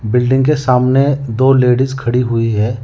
Building के सामने दो लेडिस खड़ी हुई है।